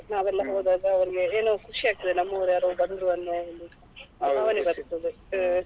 ನಾವೆಲ್ಲ ಹೋದಾಗ ಅವರಿಗೆ ಒಂದು ಏನೋ ಖುಷಿ ಆಗ್ತದೆ ನಮ್ಮವರು ಯಾರೋ ಬಂದ್ರು ಅನ್ನೊ ಒಂದು ಭಾವನೆ ಬರ್ತದೆ ಆ.